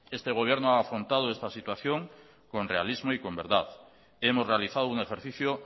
este gobierno ha afrontado esta situación con realismo y con verdad hemos realizado un ejercicio